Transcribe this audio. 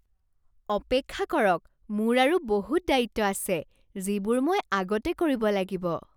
অপেক্ষা কৰক, মোৰ আৰু বহুত দায়িত্ব আছে যিবোৰ মই আগতে কৰিব লাগিব।